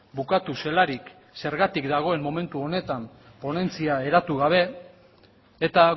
bukatu zelarik zergatik dagoen momentu honetan ponentzia eratu gabe eta